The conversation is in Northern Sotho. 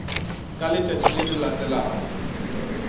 ka letšatši le le latelago